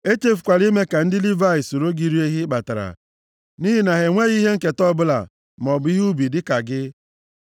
Echefukwala ime ka ndị Livayị soro gị rie ihe ị kpatara, nʼihi na ha enweghị ihe nketa ọbụla, maọbụ ihe ubi dịka gị.